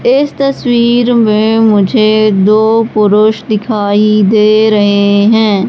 इस तस्वीर में मुझे दो पुरुष दिखाई दे रहे हैं।